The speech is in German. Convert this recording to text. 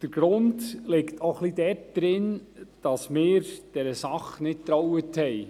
Der Grund liegt auch ein bisschen darin, dass wir der Sache nicht trauten.